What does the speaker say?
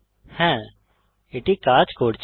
হ্যা এটি কাজ করছে